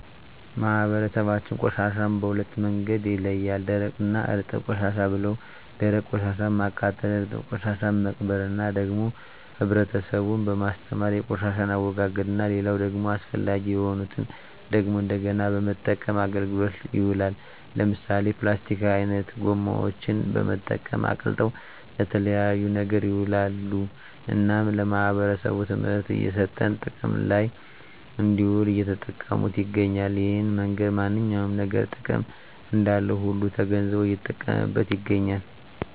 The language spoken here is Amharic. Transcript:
ማህበረሰባችን ቆሻሻን በሁለት መንገድ ይለያል ደረቅ እና እርጥብ ቆሻሻ ብለው ደረቅ ቆሻሻን ማቃጠል እርጥብ ቆሻሻን መቅበር እና ደግሞ ህብረተሰቡን በማስተማር የቆሻሻን አወጋገድ እና ሌላው ደግሞ አስፈላጊ የሆኑትን ደግሞ እንደገና በመጠቀም አገልግሎት ይውላሉ ለምሳሌ ፕላስቲክ አይነት ጎማዎችን በመጠቀም አቅልጠው ለተለያየ ነገር ይውላሉ እናም ለማህበረሰቡ ትምህርት እየሰጠን ጥቅም ለይ እንድውል እየተጠቀሙት ይገኛሉ እሄን መንገድ ማንኛውም ነገር ጥቅም እንዳለው ሁሉ ተገንዝቦ እየተጠቀመበት ይገኛል